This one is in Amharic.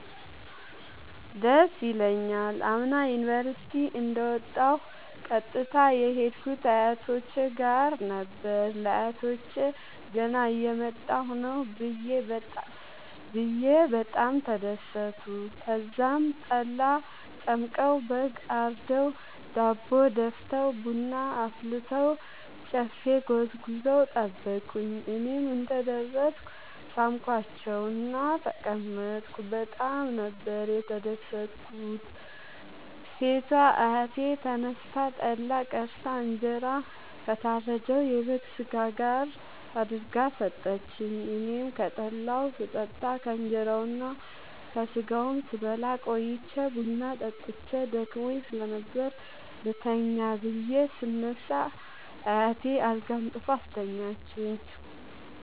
ደስ ይለኛል። አምና ዩኒቨርሢቲ እንደ ወጣሁ ቀጥታ የሄድኩት አያቶቼ ጋር ነበር። ለአያቶቸ ገና እየመጣሁ ነዉ ብየ በጣም ተደሠቱ። ተዛም ጠላ ጠምቀዉ በግ አርደዉ ዳቦ ደፍተዉ ቡና አፍልተዉ ጨፌ ጎዝጉዘዉ ጠበቁኝ። እኔም እንደ ደረስኩ ሣምኳቸዉእና ተቀመጥኩ በጣም ነበር የተደትኩት ሴቷ አያቴ ተነስታ ጠላ ቀድታ እንጀራ ከታረደዉ የበግ ስጋ ጋር አድርጋ ሠጠችኝ። አኔም ከጠላዉም ስጠጣ ከእንራዉና ከስጋዉም ስበላ ቆይቼ ቡና ጠጥቼ ደክሞኝ ስለነበር ልተኛ ብየ ስነሳ አያቴ አልጋ አንጥፋ አስተኛችኝ።